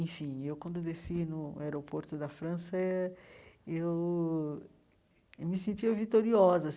Enfim, eu, quando desci no aeroporto da França, eu me sentia vitoriosa assim.